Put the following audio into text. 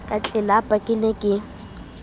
ka tlelapa ke ne ke